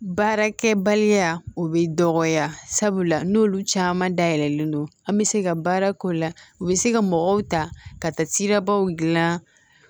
Baarakɛbaliya o bɛ dɔgɔya sabula n'olu caman dayɛlɛlen don an bɛ se ka baara k'o la u bɛ se ka mɔgɔw ta ka taa sirabaw dilan